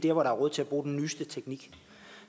er råd til at bruge den nyeste teknik